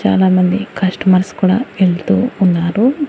చాలామంది కస్టమర్స్ కూడా వెళ్తూ ఉన్నారు.